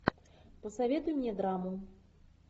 посоветуй мне драму